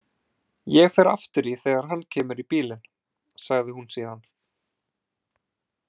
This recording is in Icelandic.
Ég fer aftur í þegar hann kemur í bílinn, sagði hún síðan.